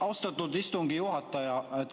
Austatud istungi juhataja!